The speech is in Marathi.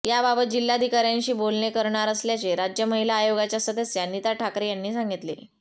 याबाबत जिल्हाधिकाऱयांशी बोलणे करणार असल्याचे राज्य महिला आयोगाच्या सदस्या नीता ठाकरे यांनी सांगितले